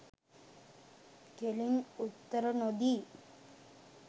කෙලින් උත්තර නොදී